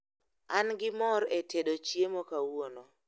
an gi mor e tedo chiemo kawuono